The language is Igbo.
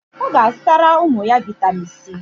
O ga azutara umu ya vitamin C.